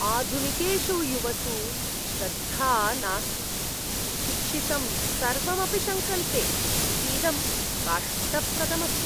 आधुनिकेषु युवसु श्रद्धा नास्ति, शिक्षितं सर्वम् अपि शङ्कन्ते इतीदं कष्टप्रदम् अस्ति।